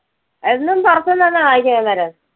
എന്നും പുറത്തുനിന്നാണോ വാങ്ങിക്കുന്നെ അന്നേരം?